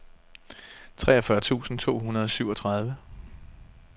treogfyrre tusind to hundrede og syvogtredive